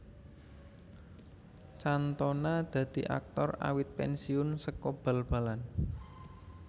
Cantona dadi aktor awit pensiun saka bal balan